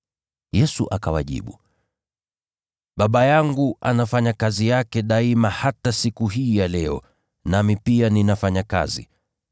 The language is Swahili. Yesu akawajibu, “Baba yangu anafanya kazi yake daima hata siku hii ya leo, nami pia ninafanya kazi.”